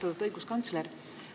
Austatud õiguskantsler!